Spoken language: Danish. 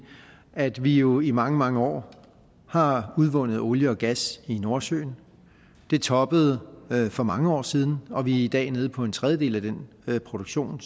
at vi jo i mange mange år har udvundet olie og gas i nordsøen det toppede for mange år siden og vi er i dag nede på en tredjedel af den produktion